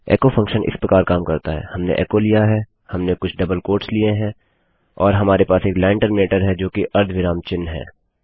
echo function इस प्रकार काम करता है हमने एचो लिया है हमने कुछ डबल क्वोट्स लिए हैं और हमारे पास एक लाइन टर्मिनेटर है जो कि अर्धविराम चिन्ह है